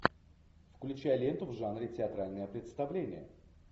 включай ленту в жанре театральное представление